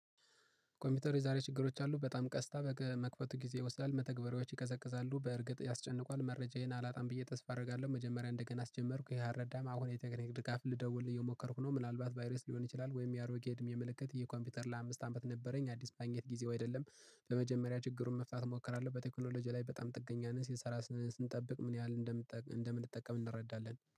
ኮምፒውተር የዛሬ ችግሮች አሉ። በጣም ቀስታ በመክፈቱ ጊዜ ይወስዳል። መተግበሪያዎች ይቀዘቅዛሉ። በእርግጥ ያስጨንቋል መረጃዬን አላጣም ብዬ ተስፋ አደርጋለሁ። መጀመሪያ እንደገና አስጀመርኩ ይሄ አረዳም። አሁን የተገናኘ ድጋፍ ልደውልህ የሞከርኩ ነው። ምናልባት ቫይረስ ሊሆን ይችላል። ወይም የአሮጌ እድሜ ምልክት የኮምፒውተር ለአምስት አመት ነበረኝ። አዲስ ማግኘት ጊዜው አይደለም። በመጀመሪያ ችግሩን መፍታት እሞክራለሁ። በቴክኖሎጂ ላይ በጣም ጥገኛ ነን ሲሰራ ስንጠብቅ ምን ያህል እንደምንጠቀም እንረዳለን